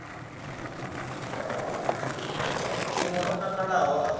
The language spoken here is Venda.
mun we o takalaho a